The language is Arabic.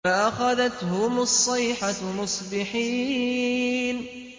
فَأَخَذَتْهُمُ الصَّيْحَةُ مُصْبِحِينَ